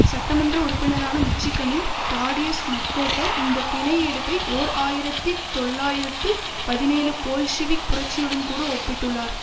சட்ட மன்ற உறுப்பினரான மிச்சிகனின் தாடியஸ் மக்கோட்டர் இந்த பிணை எடுப்பை ஓர் ஆயிரத்தி தொள்ளாயிரத்து பதினேழு போல்ஷிவிக் புரட்சியுடன்கூட ஒப்பிட்டுள்ளார்